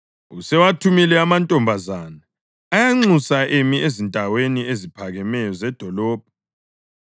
Usewathumile amantombazana, uyanxusa emi ezindaweni eziphakemeyo zedolobho.